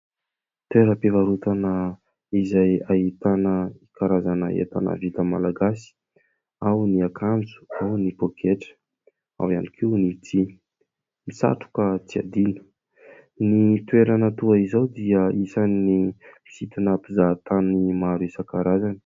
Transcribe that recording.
Toeram-pivarotana izay ahitana karazana entana vita malagasy : ao ny akanjo, ao ny paoketra, ao ihany koa ny tsihy, ny satroka tsy adino. Ny toerana toy izao dia anisan'ny mpisintona mpizahan-tany maro isankarazany.